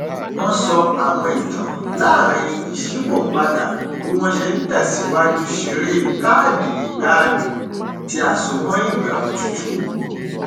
wọn sọ àwọn ìtàn láàrin ìṣípòpadà bí wọn ṣe n tẹsìwájú ṣeré káàdì ìgbaanì tí a só mọ ìgbà òtútù